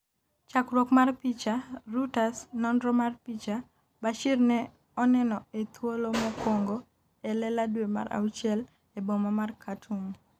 chakruok mar picha, Reuters, nonro mar picha. Bashir ne oneno e thuolo mokwongo e lela dwe mar auchiel e boma mar Khartoum